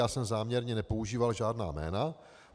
Já jsem záměrně nepoužíval žádná jména.